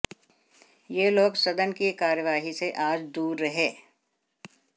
ये लोग सदन की कार्यवाही से आज दूर रहे